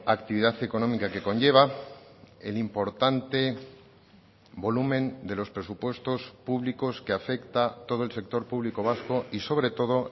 actividad económica que conlleva el importante volumen de los presupuestos públicos que afecta todo el sector público vasco y sobre todo